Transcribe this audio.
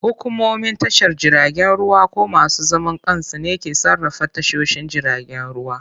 Hukumomin tashar jiragen ruwa ko masu zaman kansu ne ke sarrafa tashoshin jiragen ruwa.